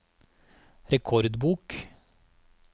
rekordbok